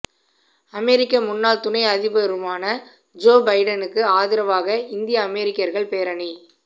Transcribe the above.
அமெரிக்க முன்னாள் துணை அதிபருமான ஜோ பிடனுக்கு ஆதரவாக இந்திய அமெரிக்கா்கள் பேரணி